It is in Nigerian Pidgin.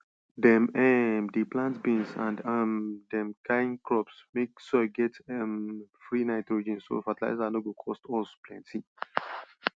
dem um dey plant beans and um dem kin crops make soil get um free nitrogen so fertilizer no go cost us plenty